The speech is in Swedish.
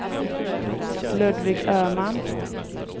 Ludvig Öhman